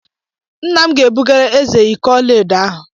Nna m ga-ebugara eze iko ọla edo ahụ.